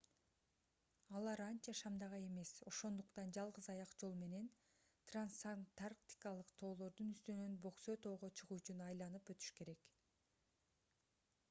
алар анча шамдагай эмес ошондуктан жалгыз аяк жол менен трансантарктикалык тоолордун үстүнөн бөксө тоого чыгуу үчүн айланып өтүш керек